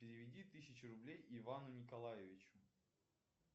переведи тысячу рублей ивану николаевичу